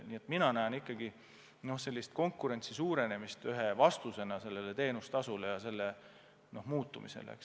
Nii et mina näen ikkagi konkurentsi suurenemist ühe võimalusena teenustasusid alandada.